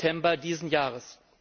7. September dieses Jahres.